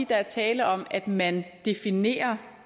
der er tale om at man definerer